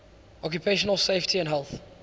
occupational safety and health